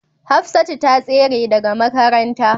Hafsatu ta tsere daga makaranta